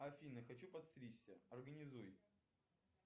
афина хочу подстричься организуй